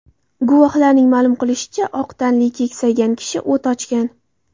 Guvohlarning ma’lum qilishicha, oq tanli, keksaygan kishi o‘t ochgan.